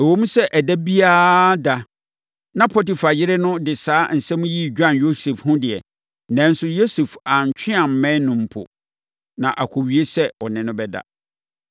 Ɛwom sɛ ɛda biara da na Potifar yere no de saa asɛm yi dwan Yosef ho deɛ, nanso Yosef antwe ammɛn no mpo, na akɔwie sɛ ɔne no bɛda.